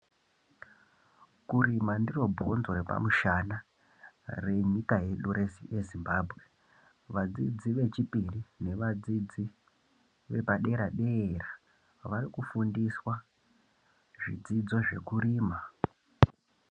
Kurima ndiro bhonzo repamushana renyika yedu yeZimbabwe vadzidzi vechipiri nevadzidzi vepadera dera varikufundiswa zvidzidzo zvekurima.